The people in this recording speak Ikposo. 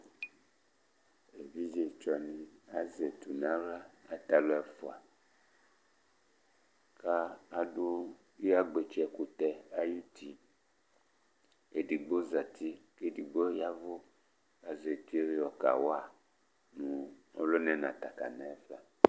Evidze tsɔ ni azɛ etu ni nʋ aɣla Ata alu ɛfʋa kʋ adu edi iyagbatsɛ ɛkʋtɛ ayʋti Ɛdigbo zɛti kʋ ɛdí yavʋ Azɛ etu ye yɔ kawa nʋ ɔluna yɛ nʋ ata kana yɛ fa